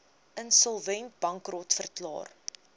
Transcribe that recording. insolvent bankrot verklaar